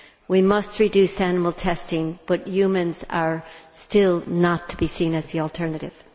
We must reduce animal testing, but humans are still not to be seen as the alternative.